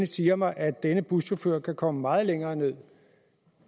siger mig at denne buschauffør kan komme meget længere ned